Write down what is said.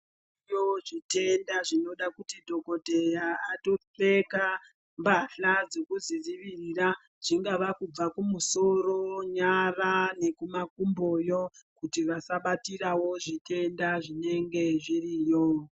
Zviriyo zvitenda zvinoda kuti dhokodheya atopfeka mbahla dzekuzvidziwirira, zvingava kubva kumusoro, nyara nekumakumboyo, kuti wasabatirawo zvitenda zvinenge zviriyo.